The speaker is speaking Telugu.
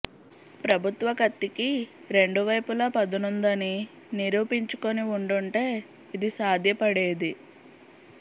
ప్రభుత్వ కత్తికి రెండు వైపులా పదునుందని నిరూపించుకుని ఉండుంటే ఇది సాధ్యపడేది